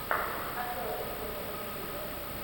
открой мне топовые клипы